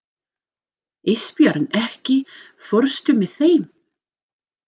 Ísbjörn, ekki fórstu með þeim?